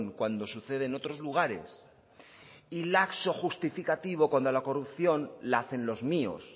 cuando sucede en otros lugares y laxo justificativo cuando la corrupción la hacen los míos